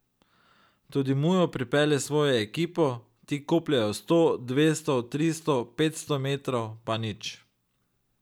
Tudi Mujo pripelje svojo ekipo, ti kopljejo sto, dvesto, tristo, petsto metrov, pa nič.